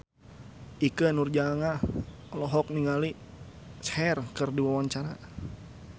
Ikke Nurjanah olohok ningali Cher keur diwawancara